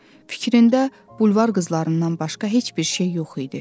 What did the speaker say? Fikrində bulvar qızlarından başqa heç bir şey yox idi.